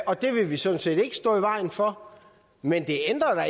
og det vil vi sådan set ikke stå i vejen for men det ændrer